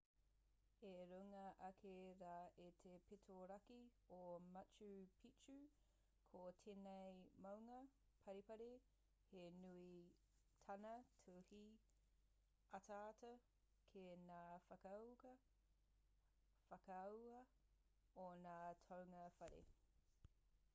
i runga ake rā i te pito raki o machu picchu ko tēnei maunga paripari he nui tāna tū hei ataata ki ngā whakaahua o ngā toenga whare